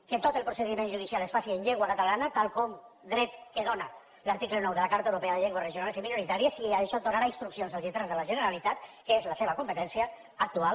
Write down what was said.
que tot el procediment judicial es faci en llengua catalana dret que dóna l’article nou de la carta europea de llengües regionals i minoritàries si d’això donarà instruccions als lletrats de la generalitat que és la seva competència actual